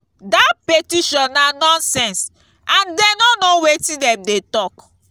dat petition na nonsense and dey no know wetin dem dey talk